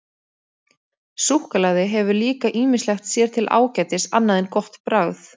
Súkkulaði hefur líka ýmislegt sér til ágætis annað en gott bragð.